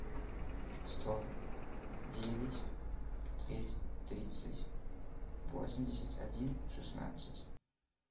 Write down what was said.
сто девять двести тридцать восемьдесят один шестнадцать